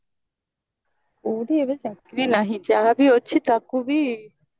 କଉଠି ଏବେ ଚାକିରି ନାହିଁ ଯାହା ବି ତାକୁ ବି